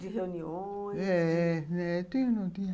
De reuniões... É, é. Não tinha... Não tinha...